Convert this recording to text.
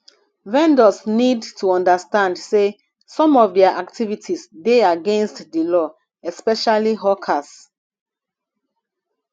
vendors need to understand sey some of their activites dey against di law especially hawkers